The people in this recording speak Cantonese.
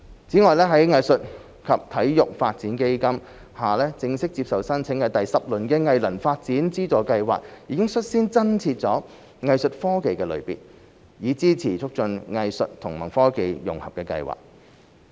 此外，在藝術及體育發展基金下正式接受申請的第十輪藝能發展資助計劃已率先增設"藝術科技"的類別，以支持促進藝術與科技融合的計劃。